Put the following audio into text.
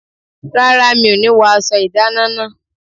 Rárá, mi ọ̀ ní wọ aṣọ ìdáná náà.